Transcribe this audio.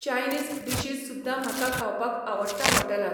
Chinese dishes सुद्दां म्हाका खावपाक आवडटा हॉटेलांत.